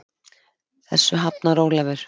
Þessu hafnar Ólafur.